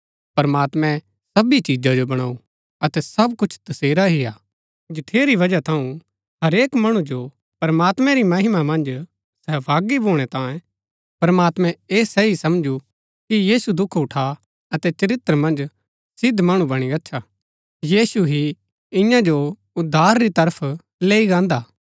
प्रमात्मैं सबी चिजा जो बणाऊ अतै सब कुछ तसेरा ही हा जठेरी बजहा थऊँ हरेक मणु जो प्रमात्मैं री महिमा मन्ज सहभागी भूणै तांये प्रमात्मैं ऐह सही समझू कि यीशु दुख उठा अतै चरित्र मन्ज सिद्ध मणु बणी गच्छा यीशु ही इन्या जो उद्धार री तरफ लैई गान्दा हा